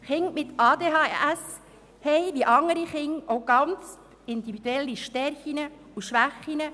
Kinder mit ADHS haben, wie andere Kinder, individuelle Stärken und Schwächen.